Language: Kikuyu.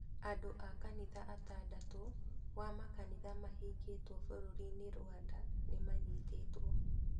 Andũ a kanitha atandatũ wa makanitha mabingĩtwe bũrũrinĩ Rwanda nĩmanyitĩtwe.